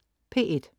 P1: